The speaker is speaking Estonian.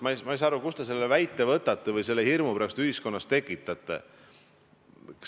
Ma ei saa aru, kust te selle väite võtate või miks te seda hirmu ühiskonnas tekitate.